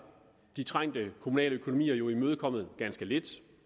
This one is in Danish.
de trængte kommunale økonomier jo imødekommet ganske lidt